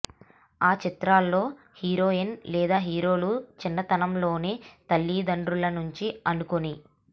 ఆ చిత్రాల్లో హీరోయిన్ లేదా హీరోలు చిన్నతనంలోనే తల్లిదండ్రుల నుంచి అనుకోని